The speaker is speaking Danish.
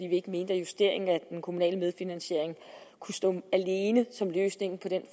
vi ikke mente at justeringen af den kommunale medfinansiering kunne stå alene som løsningen på den